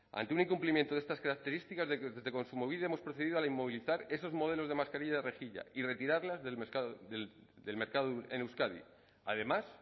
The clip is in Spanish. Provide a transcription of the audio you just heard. ante un incumplimiento de estas características desde kontsumobide hemos procedido a inmovilizar esos modelos de mascarilla de rejilla y retirarlas del mercado en euskadi además